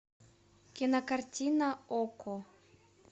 кинокартина окко